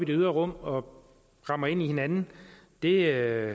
det ydre rum og rammer ind i hinanden det er